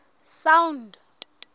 sound